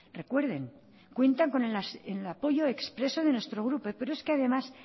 recuerden cuentan con el apoyo expreso de nuestro grupo pero es que además